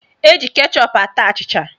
Eji kechọp ata achịcha.